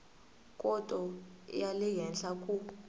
khoto ya le henhla ku